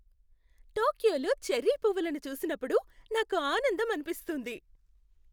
టోక్యోలో cherry పువ్వులను చూసినప్పుడు నాకు ఆనందం అనిపిస్తుంది.